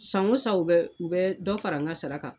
San o san u bɛ dɔ fara n ka sara kan